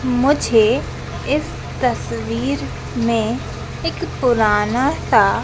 मुझे इस तस्वीर में एक पुराना सा--